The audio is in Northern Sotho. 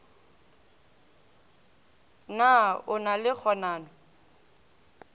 na o na le kganano